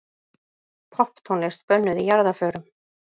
Popptónlist bönnuð í jarðarförum